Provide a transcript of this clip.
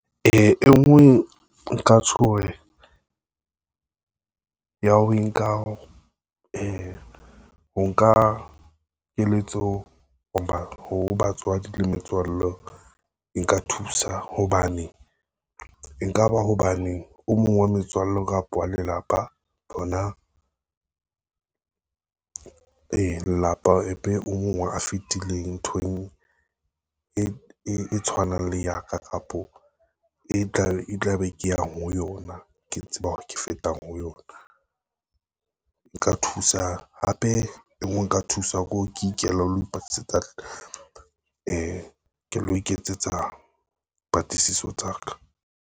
E ngwe ya ho nka keletso, ho batswadi le metswalle e nka thusa hobane, e nka ba hobane o mong wa metswalle kapa wa lelapa hona, lelapa o mong a fitileng, nthong e tshwanang le ya ka, kapo e tla be ke yang ho yona, ke tseba hore ke fetang ho yona. Hape nka thuswa ke hore, ke ikele ho lo ipatlisetsa, ke lo iketsetsa patlisiso tsa ka.